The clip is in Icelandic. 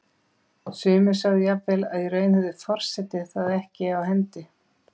Sumir sögðu jafnvel að í raun hefði forseti það ekki á hendi.